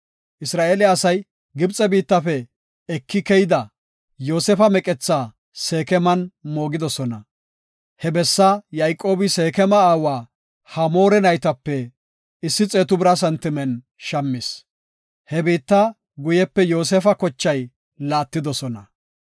Isra7eele asay Gibxe biittafe eki keyida, Yoosefa meqethaa Seekeman moogidosona. He bessaa Yayqoobi Seekema aawa Hamoora naytape issi xeetu bira santimen shammis. He biitta guyepe Yoosefa kochay laattidosona.